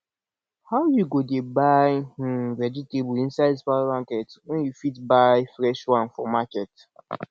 how you go dey buy um vegetable inside supermarket when you fit buy fresh one for market